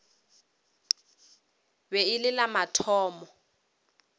be e le la mathomo